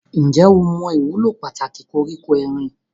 Ǹjẹ́ o mọ ìwúlò pàtàkì koríko erin?